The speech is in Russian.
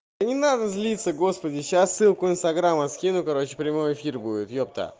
не надо злиться господи сейчас ссылку инстаграма скину короче прямой эфир будет ёпта